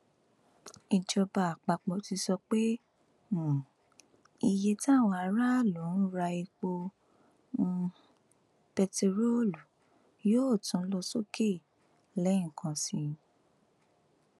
ìjọba àpapọ ti sọ pé um iye táwọn aráàlú ń ra epo um bẹntiróòlù yóò tún lọ sókè lẹẹkan sí i